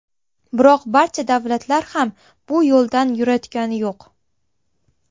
Biroq barcha davlatlar ham bu yo‘ldan yurayotgani yo‘q.